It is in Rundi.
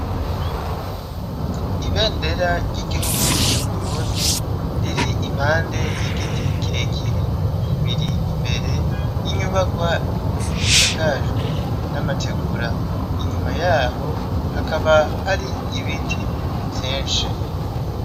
Ibendera ry'iguhugu c'Uburundi riri impande y'igiti kirekire biri imbere y'inyubakwa isakajwe n'amategura, inyuma yaho hakaba hari ibiti vyinshi.